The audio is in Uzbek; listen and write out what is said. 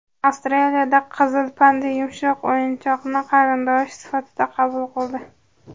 Avstraliyada qizil panda yumshoq o‘yinchoqni qarindoshi sifatida qabul qildi .